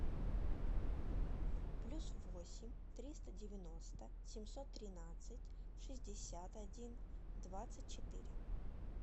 плюс восемь триста девяносто семьсот тринадцать шестьдесят один двадцать четыре